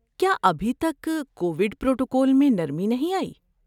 کیا ابھی تک کووڈ پروٹوکول میں نرمی نہیں آئی؟